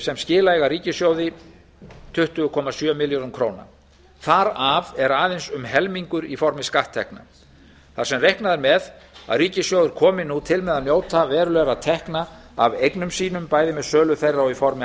sem skila eiga ríkissjóði tuttugu komma sjö milljörðum króna þar af er aðeins um helmingur í formi skatttekna þar sem reiknað er með að ríkissjóður komi til með að njóta verulegra tekna af eignum sínum bæði með sölu þeirra og í formi